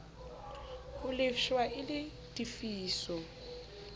ho lefshwa e le tefiso